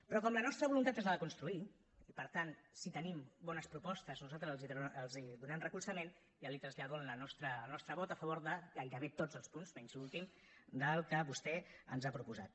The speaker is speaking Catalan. però com la nostra voluntat és la de construir i per tant si tenim bones propostes nosaltres els hi donarem recolzament ja li trasllado el nostre vot a favor de gairebé tots els punts menys l’últim del que vostè ens ha proposat